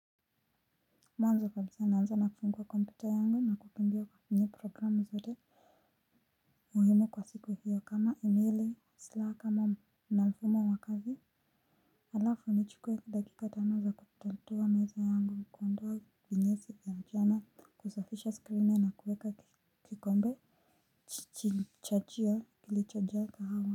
Mwanzo kabisa naanza na kufungua kompyuta yangu na kukimbia kwenye programu zote muhimu kwa siku hiyo kama emaili slack ama na mfumo wa kazi. Alafu nichukue dakika tano za kutatua meza yangu kuondoa vinyesi ya mchana kusafisha skrini na kuweka kikombe chini chachio kilichojaa kahawa.